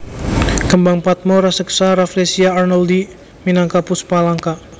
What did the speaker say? Kembang padma raseksa Rafflesia arnoldii minangka puspa langka